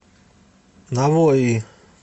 навои